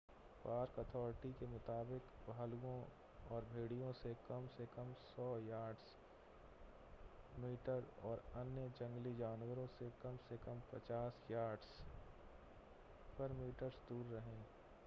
park authorities के मुताबिक भालुओं और भेड़ियों से कम से कम 100 यार्ड्स/मीटर्स और अन्य जंगली जानवरों से कम से कम 25 यार्डर्स/मीटर्स दूर रहें